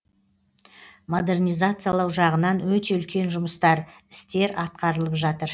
модернизациялау жағынан өте үлкен жұмыстар істер атқарылып жатыр